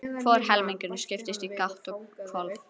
Hvor helmingurinn skiptist í gátt og hvolf.